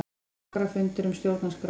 Borgarafundur um stjórnarskrána